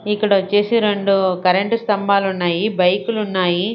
ఇక్కడొచ్చేసి రెండు కరెంటు స్తంభాలున్నాయి బైకులున్నాయి .